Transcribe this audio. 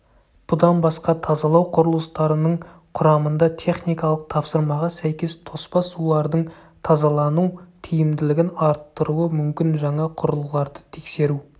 бұдан басқа тазалау құрылыстарының құрамында техникалық тапсырмаға сәйкес тоспа сулардың тазалану тиімділігін арттыруы мүмкін жаңа құрылғыларды тексеру